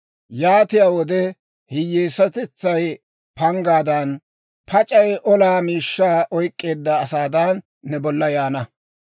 Yaatiyaa wode hiyyeesatetsay panggaadan, pac'ay olaa miishshaa oyk'k'eedda asaadan, ne bolla yaana.